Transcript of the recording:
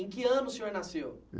Em que ano o senhor nasceu?